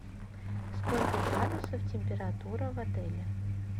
сколько градусов температура в отеле